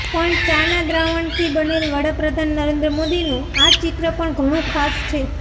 પણ ચા ના દ્રાવણથી બનેલ વડાપ્રધાન નરેન્દ્ર મોદીનું આ ચિત્ર પણ ઘણું ખાસ છે